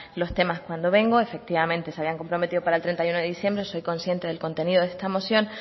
los temas cuando vengo efectivamente se habían comprometido para el treinta y uno de diciembre soy consciente del contenido de esta moción